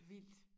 Vildt